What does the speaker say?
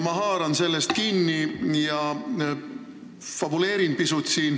Ma haaran sellest kinni ja fabuleerin siin pisut.